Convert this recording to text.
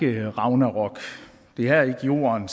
ragnarok det er ikke jorden